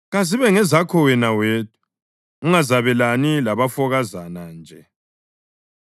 Kazibe ngezakho wena wedwa, ungazabelani labafokazana nje.